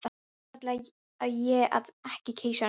Annars ætlaði ég að eiga keisarann sjálf.